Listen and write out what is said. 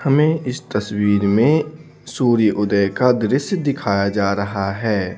हमें इस तस्वीर में सूर्य उदय का दृश्य दिखाया जा रहा है।